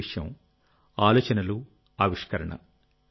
మొదటి విషయం ఆలోచనలుఆవిష్కరణ